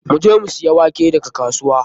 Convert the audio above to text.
Mun je mu siya wake daga kasuwa.